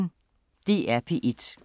DR P1